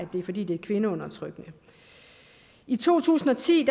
fordi det er kvindeundertrykkende i to tusind og ti